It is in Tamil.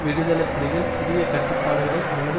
விடுதலை புலிகள் புதிய கட்டுப்பாடுகளை அல்லது